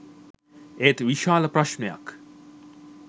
ඒත් විශාල ප්‍රශ්නයක්